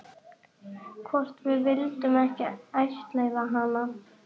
Hvort við vildum ekki ættleiða hana?